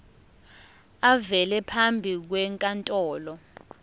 avele phambi kwenkantolo